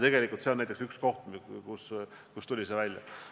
Aga see on näiteks üks koht, millega tuleks tegeleda.